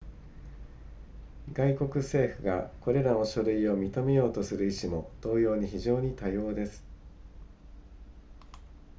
外国政府がこれらの書類を認めようとする意志も同様に非常に多様です